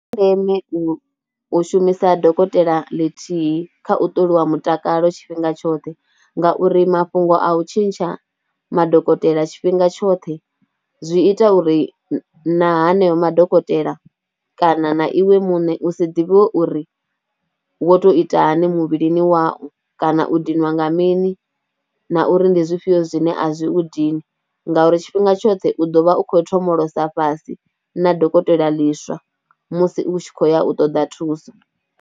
Ndi zwa ndeme u shumisa dokotela ḽithihi kha u ṱoliwa mutakalo tshifhinga tshoṱhe ngauri mafhungo a u tshintsha madokotela tshifhinga tshoṱhe zwi ita uri na haneo madokotela kana na iwe muṋe u si ḓivhiwe uri wo tou ita hone muvhilini wau kana u dinwa nga mini na uri ndi zwifhio zwine a zwi u dini ngauri tshifhinga tshoṱhe u ḓo vha u khou thomolosa fhasi na dokotela ḽiswa musi u tshi khou ya u ṱoḓa thuso.